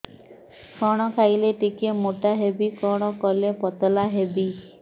କଣ ଖାଇଲେ ଟିକେ ମୁଟା ହେବି କଣ କଲେ ପତଳା ହେବି